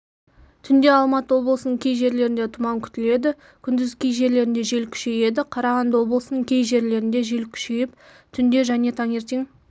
түнде алматы облысының кей жерлерінде тұман күтіледі күндіз кей жерлерінде жел күшейеді қарағанды облысының кей жерлерінде жел күшейіп түнде және таңертең